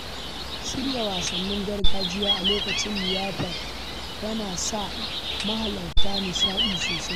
Shirya wasannin gargajiya a lokacin liyafar yana sa mahalartan nishaɗi sosai.